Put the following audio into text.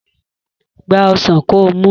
Gba ọsàn kó mu!